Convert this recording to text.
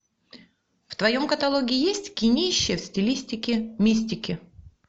в твоем каталоге есть кинище в стилистике мистики